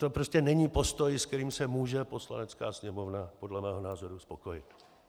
To prostě není postoj, s kterým se může Poslanecká sněmovna podle mého názoru spokojit.